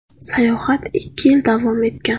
Sayohat ikki yil davom etgan.